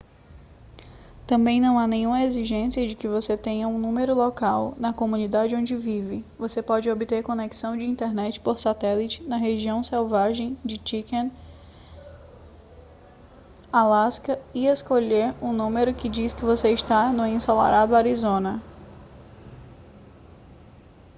também não há nenhuma exigência de que você tenha um número local na comunidade onde vive você pode obter conexão de internet por satélite na região selvagem de chicken alaska e escolher um número que diz que você está no ensolarado arizona